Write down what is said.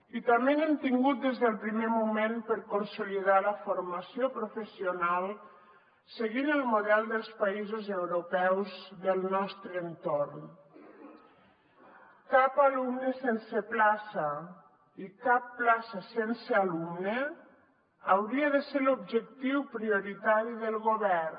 i també n’hem tingut des del primer moment per consolidar la formació professional seguint el model dels països europeus del nostre entorn cap alumne sense plaça i cap plaça sense alumne hauria de ser l’objectiu prioritari del govern